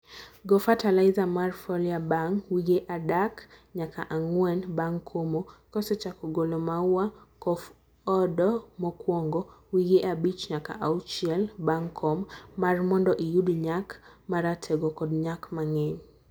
go fertilizer mar foliar bang wige adak nyaka angwen bang komo, kosechako golo maua kof opdo mokwongo.(wige abich nyaka auhiel bang kom) mar mondo iyud nyak maratego kod nyak mangeny.